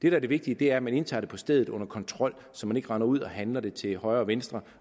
er det vigtige er at man indtager det på stedet under kontrol så man ikke render ud og handler det til højre og venstre